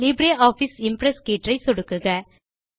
LibreOffice Impress கீற்றை சொடுக்குக